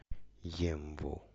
емву